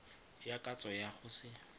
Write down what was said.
ya katso ya go se